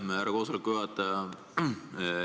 Aitäh, härra koosoleku juhataja!